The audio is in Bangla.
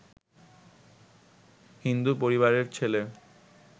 হিন্দু পরিবারের ছেলে